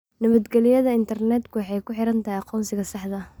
Nabadgelyada intarneedku waxay ku xidhan tahay aqoonsiga saxda ah.